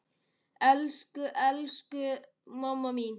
Elsku, elsku amma mín.